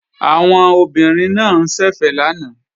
Àwọn obìnrin náà ń ṣẹ̀fẹ̀ lánàá